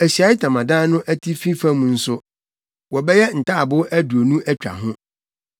Ahyiae Ntamadan no atifi fam nso, wɔbɛyɛ ntaaboo aduonu atwa ho.